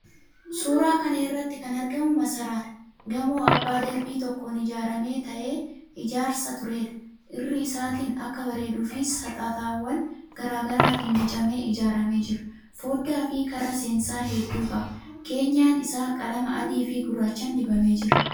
Suuraa kana irratti kan argamu masaraadha. Gamoo abbaa darbii tokkoon ijaarame ta'ee, ijaarsa tureedha. Irra isaatiin akka bareeduuf saxaxawwan garaa garaatiin bocamee ijaaramee jira. Foddaafi karra seensaa hedduu qaba. Keenyan isaa qalama adiifi gurraachaan dibamee jira.